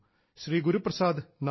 ശ്രീ ഗുരുപ്രസാദ് നന്ദി